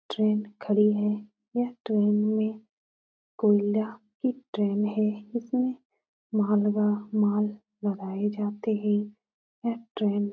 Train खड़ी है। यह ट्रेन में कोयला की ट्रेन है। इसमें माल लदाए जाते हैं। यह ट्रेन --